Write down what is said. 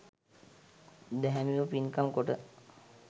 දැහැමිව පින්කම් කොට